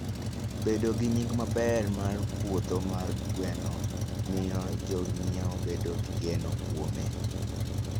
Bedo gi nying' maber mar puodho mar gwen miyo jonyiewo bedo gi geno kuome.